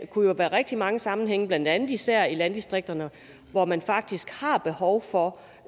kunne jo være rigtig mange sammenhænge blandt andet især i landdistrikterne hvor man faktisk har behov for